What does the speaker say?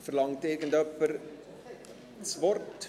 Verlangt irgendjemand das Wort?